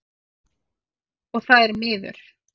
Og það er miður.